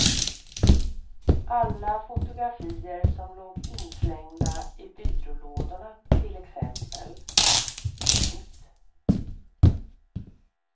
Alla fotografier som låg inslängda i byrålådorna till exempel. punkt